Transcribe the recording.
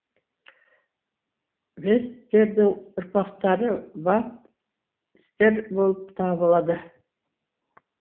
весьтердің ұрпақтары вапстер болып табылады